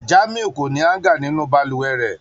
Jamiu ko ni hanger ninu balùwẹ̀ rẹ.